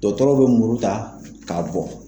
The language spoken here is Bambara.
Dɔgɔtɔrɔw bɛ muru ta k'a bɔ.